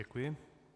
Děkuji.